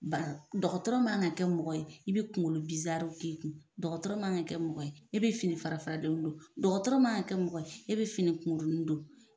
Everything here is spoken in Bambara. Ba dɔgɔtɔrɔ man ka kɛ mɔgɔ ye i be kungolo bizaruw k'i kun dɔgɔtɔrɔ man ka kɛ mɔgɔ ye e be fini fara faralenw don dɔgɔtɔrɔ man ka kɛ mɔgɔ ye e be fini kukuruni don